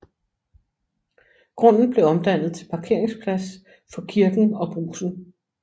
Grunden blev omdannet til parkeringsplads for kirken og Brugsen